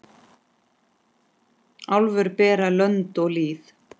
Álfur bera lönd og lýð.